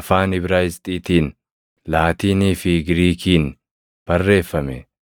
afaan Ibraayisxiitiin, Laatiinii fi Giriikiin barreeffame.